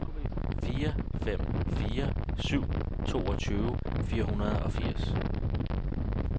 fire fem fire syv toogtyve fire hundrede og firs